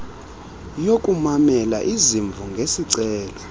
yokumamela izimvo ngesicelo